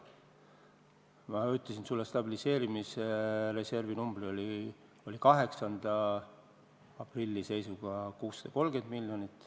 Ma ütlesin sulle stabiliseerimisreservi numbri, see oli 8. aprilli seisuga 630 miljonit.